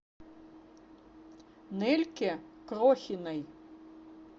нельке крохиной